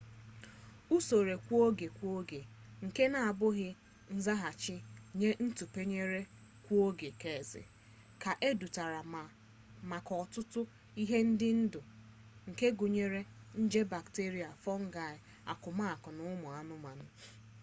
usoro kwa-oge kwa-oge nke n'abụghị nzaghachi nye ntụpenye kwa-oge keezi ka edeturula maka ọtụtụ ihe ndị dị ndụ nke gụnyere nje bakterịa fọngaị akụmakụ na ụmụanụmanụ